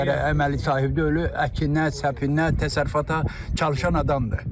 vərdişlərə əməli sahib deyil, əkinə, səpinə, təsərrüfata çalışan adamdır.